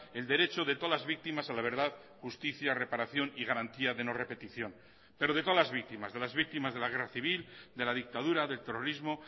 el derecho de todas las víctimas a la verdad justicia reparación y garantía de no repetición pero de todas las víctimas de las víctimas de la guerra civil de la dictadura del terrorismo